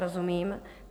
Rozumím.